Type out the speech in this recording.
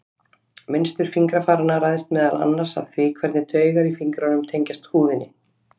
Mynstur fingrafaranna ræðst meðal annars af því hvernig taugar í fingrunum tengjast húðinni.